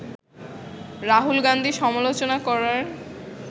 রাহুল গান্ধী সমালোচনা করার